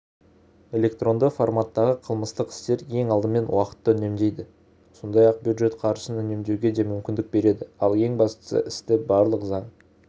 электронды форматтағы қылмыстық істер ең алдымен уақытты үнемдейді сондай-ақ бюджет қаржысын үнемдеуге де мүмкіндік береді ал ең бастысы істі барлық заң